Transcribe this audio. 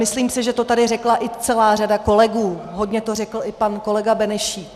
Myslím si, že to tady řekla i celá řada kolegů, hodně to řekl i pan kolega Benešík.